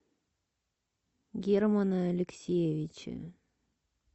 германа алексеевича